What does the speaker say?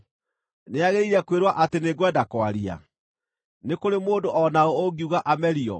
Nĩagĩrĩire kwĩrwo atĩ nĩngwenda kwaria? Nĩ kũrĩ mũndũ o na ũ ũngiuga amerio?